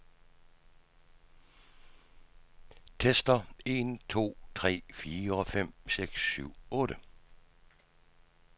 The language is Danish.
Tester en to tre fire fem seks syv otte.